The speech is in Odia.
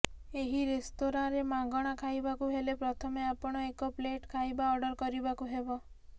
ଏହି ରେସ୍ତୋରାଁରେ ମାଗଣା ଖାଇବାକୁ ହେଲେ ପ୍ରଥମେ ଆପଣ ଏକ ପ୍ଲେଟ୍ ଖାଇବା ଅର୍ଡର କରିବାକୁ ହେବ